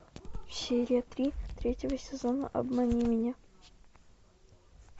серия три третьего сезона обмани меня